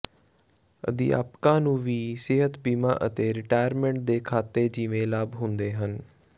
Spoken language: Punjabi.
ਅਧਿਆਪਕਾਂ ਨੂੰ ਵੀ ਸਿਹਤ ਬੀਮਾ ਅਤੇ ਰਿਟਾਇਰਮੈਂਟ ਦੇ ਖਾਤੇ ਜਿਵੇਂ ਲਾਭ ਹੁੰਦੇ ਹਨ